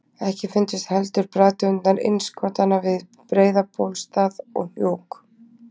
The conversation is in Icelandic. Ekki fundust heldur bergtegundir innskotanna við Breiðabólsstað og Hnjúk.